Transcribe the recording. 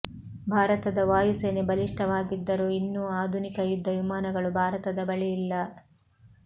ಭಾರತದ ವಾಯು ಸೇನೆ ಬಲಿಷ್ಠವಾಗಿದ್ದರೂ ಇನ್ನೂ ಆಧುನಿಕ ಯುದ್ಧ ವಿಮಾನಗಳು ಭಾರತದ ಬಳಿ ಇಲ್ಲ